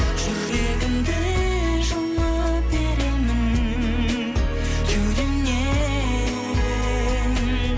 жүрегімді жұлып беремін кеудемнен